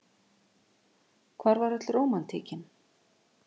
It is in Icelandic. Hvar var öll rómantíkin?